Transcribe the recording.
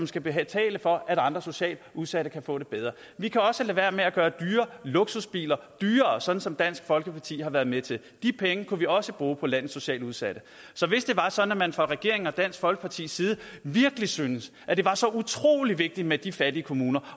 skal betale for at andre socialt udsatte kan få det bedre vi kan også lade være med at gøre dyre luksusbiler billigere sådan som dansk folkeparti har været med til de penge kunne vi også bruge på landets socialt udsatte så hvis det var sådan at man fra regeringens og dansk folkepartis side virkelig syntes at det var så utrolig vigtigt med de fattige kommuner